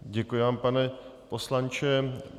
Děkuji vám, pane poslanče.